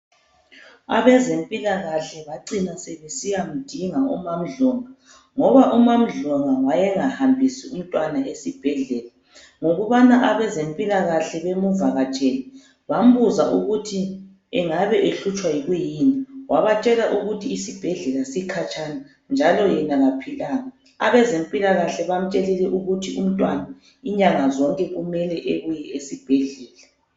Abezempilakahle bacina sebesiyamdinga umaMdlongwa, ngoba uMamdlongwa wayengahambisi umntwana esibhedlela ngokubana abezempilakahle bemuvakatshele bambuza ukuthi engabe ehlutshwa yikuyini wabatshela ukuthi isibhedlela sikhatshana njalo yena kaphilanga. Abezempilakahle bamutshelile ukuthi umntwana inyanga zonke kumele ebuye esibhedlela.